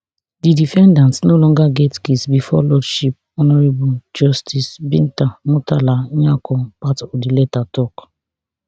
di defendat no longer get case bifor lordship honourable justice binta murtalanyako part of di letter tok